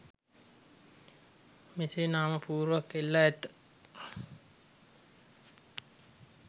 මෙසේ නාම පුවරුවක් එල්ලා ඇත.